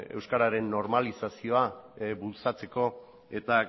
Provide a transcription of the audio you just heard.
euskararen normalizazioa bultzatzeko eta